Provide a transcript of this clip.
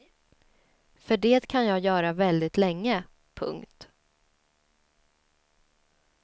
För det kan jag göra väldigt länge. punkt